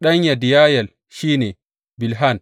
Ɗan Yediyayel shi ne, Bilhan.